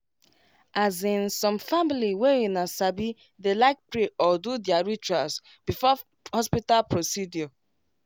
as insome family way una sabi dey like pray or do their rituals before hospital procedure